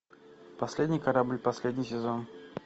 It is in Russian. последний корабль последний сезон